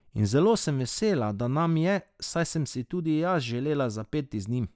In zelo sem vesela, da nam je, saj sem si tudi jaz želela zapeti njim.